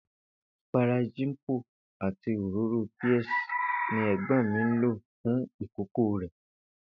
Ìpara Jimpo àti òróró Pears ni è̩gbó̩n mi ń lò fún ìkókó rè̩